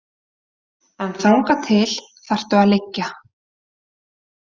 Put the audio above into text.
En þangað til þarftu að liggja.